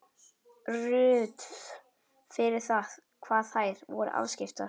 Ruth fyrir það hvað þær voru afskiptar.